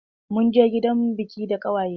Munje gidan biƙin da ƙawaye na.